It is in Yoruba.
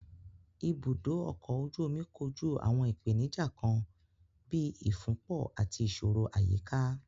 Ibùdó ọkọ̀ ojú omi kojú àwọn ìpèníjà kan bíi ìfúnpọ̀ àti ìṣòro àyíká.